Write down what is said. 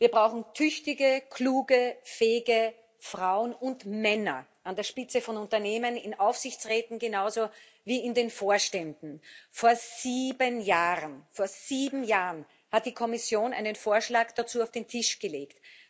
Wir brauchen tüchtige, kluge und fähige Frauen und Männer an der Spitze von Unternehmen, in Aufsichtsräten genauso wie in den Vorständen. Vor sieben Jahren hat die Kommission einen Vorschlag dazu auf den Tisch gelegt.